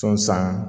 Sɔn san